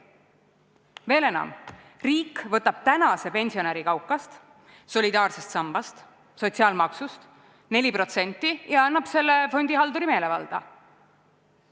Veel enam, riik võtab tänase pensionäri kaukast, solidaarsest sambast, sotsiaalmaksust 4% ja annab selle fondihalduri meelevalda.